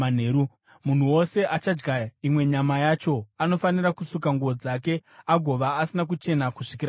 Munhu wose achadya imwe nyama yacho anofanira kusuka nguo dzake agova asina kuchena kusvikira manheru.